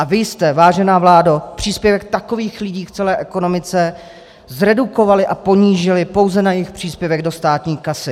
A vy jste, vážená vládo, příspěvek takových lidí v celé ekonomice zredukovali a ponížili pouze na jejich příspěvek do státní kasy.